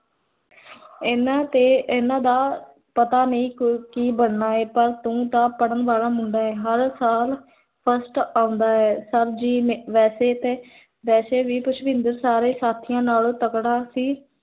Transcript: ਇੰਨਾ ਤੇ, ਇੰਨਾ ਦਾ ਪਤਾ ਨਹੀ, ਕੀ ਬਣਨਾ ਹੈ ਪਰ ਤੂੰ ਤਾਂ, ਪੜ੍ਹਨ ਵਾਲਾ ਮੁੰਡਾ ਹੈਂ ਹਰ ਸਾਲ, first ਆਓਂਦਾ ਹੈ ਤਾਂ ਜੀ, ਵੇਸੇ ਵੀ, ਪੁਸ਼ਪਿੰਦਰ ਸਾਰੇ ਸਾਥੀਆਂ ਨਾਲੋਂ ਤਗੜਾ ਸੀ